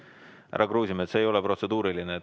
Härra Kruusimäe, see ei ole protseduuriline.